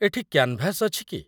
ଏଠି କ୍ୟାନ୍‌ଭାସ୍‌ ଅଛି କି?